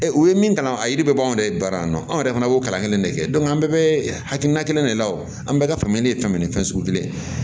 u ye min kalan a yiri bɛɛ b'anw yɛrɛ baara yan nɔ anw yɛrɛ fana b'o kalan kelen de kɛ an bɛɛ bɛ hakilina kelen de la wo an bɛɛ ka faamuyali ye fɛn min ye fɛn sugu kelen